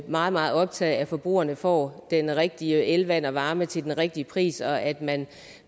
meget meget optaget af at forbrugerne får den rigtige el vand og varme til den rigtige pris og at man